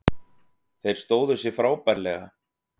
Þeir stóðu sig frábærlega